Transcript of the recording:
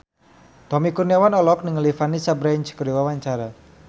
Tommy Kurniawan olohok ningali Vanessa Branch keur diwawancara